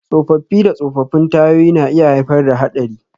Tsofaffi da tsofaffin tayoyi na iya haifar da haɗari.